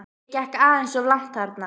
Ég gekk aðeins of langt þarna.